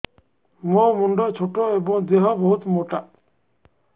ମୋ ମୁଣ୍ଡ ଛୋଟ ଏଵଂ ଦେହ ବହୁତ ମୋଟା